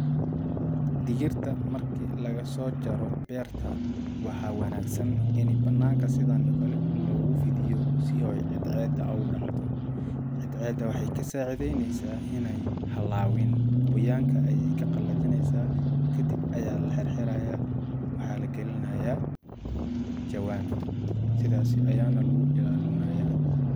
Dhigirta markii lagasoo jaro beerta waxaa wanagsan in banaanka sidaan oo kale loogu fidiyo si oo cedceeeda oogu dhacdo cedceeda waxay ka sacideneesa inaay halaawin qoyaaanka ayya ka qalajineysaa kadib ayaa la xirxirayaa waxaa la gelinayaa jawaan sidaas ayaa nah lagu ilaalinayaa.